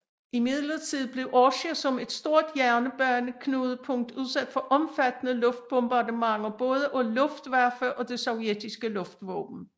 Imidlertid blev Orsja som et stort jernbaneknudepunkt udsat for omfattende luftbombardementer både af luftwaffe og det sovjetiske luftvåben